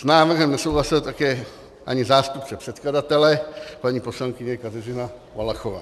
S návrhem nesouhlasil také ani zástupce předkladatele, paní poslankyně Kateřina Valachová.